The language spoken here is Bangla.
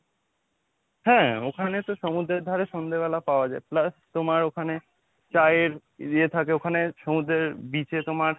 হ্যাঁ, ওখানে তো সমুদ্রের ধারে সন্ধ্যেবেলা পাওয়া যায় plus তোমার ওখানে চা এর ইয়ে থাকে ওখানে সমুদ্রের beach এ তোমার,